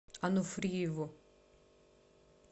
ануфриеву